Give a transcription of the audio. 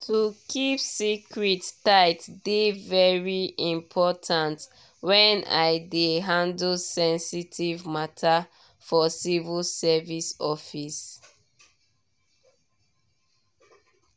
to keep secret tight dey very important when i dey handle sensitive matter for civil service office.